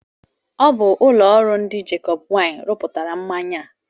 Ọ bụ ụlọ ọrụ ndị Jacobs Wine rụpụtara mmanya a.